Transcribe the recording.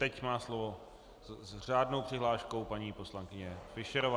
Teď má slovo s řádnou přihláškou paní poslankyně Fischerová.